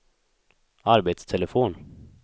arbetstelefon